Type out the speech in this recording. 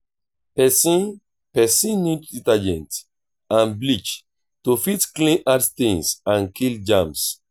person person need detergent and bleach to fit clean hard stains and kill germs